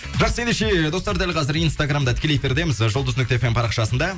жақсы ендеше достар дәл қазір инстаграмда тікелей эфирдеміз ы жұлдыз нүкте фм парақшасында